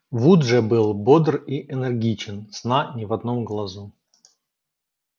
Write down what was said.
вуд же был бодр и энергичен сна ни в одном глазу